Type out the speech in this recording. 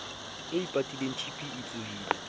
e ipatileng tb e tsohileng